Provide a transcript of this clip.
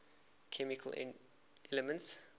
chemical elements